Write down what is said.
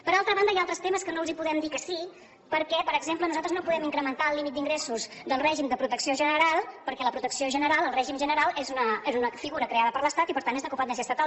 per altra banda hi ha altres temes als quals no els podem dir que sí perquè per exemple nosaltres no podem incrementar el límit d’ingressos del règim de protecció general perquè la protecció general el règim general és una figura creada per l’estat i per tant és de competència estatal